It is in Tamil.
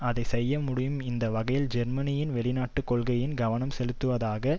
அதை செய்ய முடியும் இந்த வகையில் ஜெர்மனியின் வெளிநாட்டு கொள்கையில் கவனம் செலுத்துவதாக